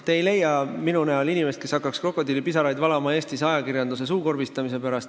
Te ei leia minu näol inimest, kes hakkaks Eestis ajakirjanduse suukorvistamise pärast krokodillipisaraid valama.